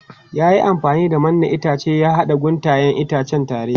Ya yi amfani da mannen itace ya haɗa guntayen itacen tare.